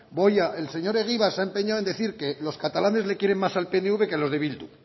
el señor egibar se ha empeñado en decir que los catalanes le quieren más al pnv que a los de bildu